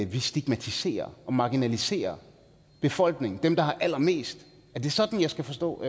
vi stigmatiserer og marginaliserer befolkningen dem der har allermest er det sådan jeg skal forstå